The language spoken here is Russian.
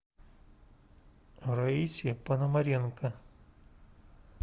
раисе пономаренко